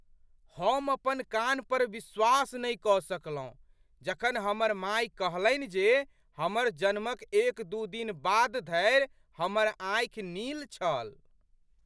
हम अपन कान पर विश्वास नहि कऽ सकलहुँ जखन हमर माय कहलनि जे हमर जन्मक एक दू दिन बाद धरि हमर आँखि नील छल।